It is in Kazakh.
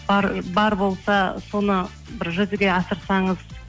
бар болса соны бір жүзеге асырсаңыз